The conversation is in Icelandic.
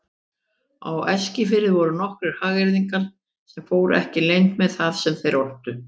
Á Eskifirði voru nokkrir hagyrðingar sem fóru ekki leynt með það sem þeir ortu.